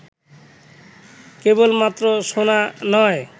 কেবলমাত্র শোনা নয়